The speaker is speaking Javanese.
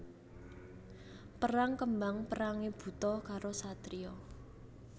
Perang kembang perangé buta karo satriya